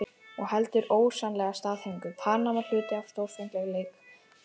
Og heldur ósennileg staðhæfing: PANAMA HLUTI AF STÓRFENGLEIK INDLANDS.